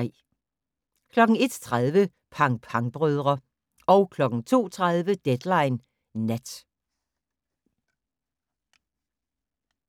01:30: Pang Pang-brødre 02:30: Deadline Nat